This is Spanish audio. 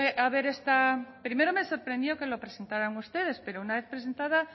a haber esta primero me sorprendió que lo presentaran ustedes pero una vez presentada